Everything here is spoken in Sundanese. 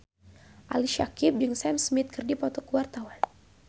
Ali Syakieb jeung Sam Smith keur dipoto ku wartawan